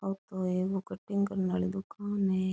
आ तो एक कटिंग करने वाली दुकान है।